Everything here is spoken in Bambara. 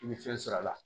I bɛ fɛn sɔrɔ a la